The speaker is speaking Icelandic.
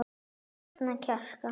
Safna kjarki.